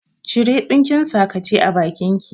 Cire tsinken sakace a bakin ki!